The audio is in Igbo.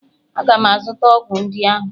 Aga m azụta ọgwụ ndị ahụ!